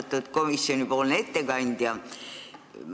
Austatud komisjoni ettekandja!